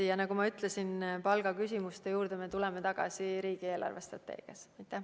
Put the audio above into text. Aga nagu ma ütlesin, palgaküsimuste juurde me tuleme riigi eelarvestrateegiat arutades.